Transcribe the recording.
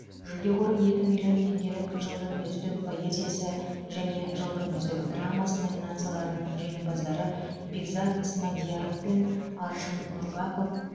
жүлде қоры екі миллион теңгелік жылдың үздік поэзиясы және жылдың үздік драмасы номинацияларының жеңімпаздары бекзат смадияров пен аршын нұрбақов